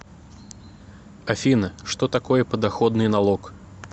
афина что такое подоходный налог